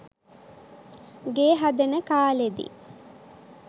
ගේ හදන කාලෙදි